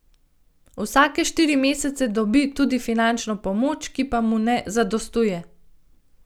Vsake štiri mesce dobi tudi finančno pomoč, ki pa mu ne zadostuje.